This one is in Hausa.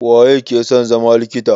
Waye ke son zama likita?